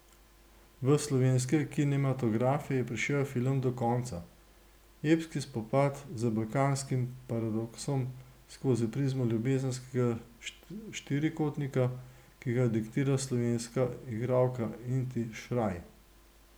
V slovenske kinematografe je prišel film Do konca, epski spopad z balkanskim paradoksom skozi prizmo ljubezenskega štirikotnika, ki ga diktira slovenska igralka Inti Šraj.